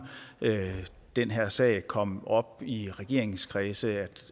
at den her sag kom op i regeringskredse